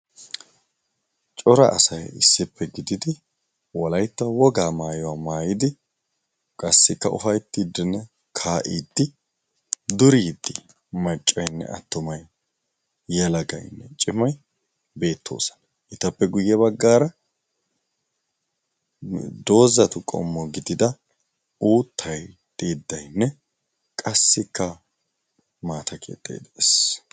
Cora asay issippe gididi walaitta wogaa maayuwaa maayidi qassikka ufaittiddnne kaa'iddi duriiddi maccaynne attumay yalagaynne cimay beettoosana. itappe guyye baggaara doozatu qommo gidida uuttai xiiddainne qassikka maata keexxai de'ees.